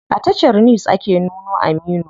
A tashar news ake nuno Aminu.